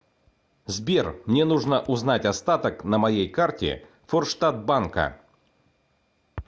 сбер мне нужно узнать остаток на моей карте форштадт банка